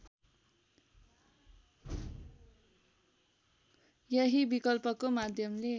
यही विकल्पको माध्यमले